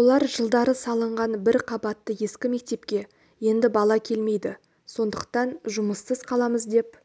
олар жылдары салынған бір қабатты ескі мектепке енді бала келмейді сондықтан жұмыссыз қаламыз деп